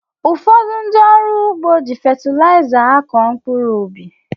Ụfọdụ ndị ọrụ ugbo jị fetilayiza akọ mkpụrụ ubi